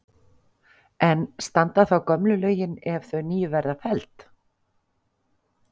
En standa þá gömlu lögin ef þau nýju verða felld?